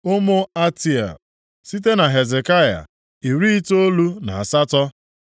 Ụmụ Atea, site na Hezekaya, iri itoolu na asatọ (98).